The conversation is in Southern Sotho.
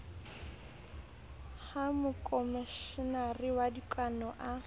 ha mokomeshenara wa dikano a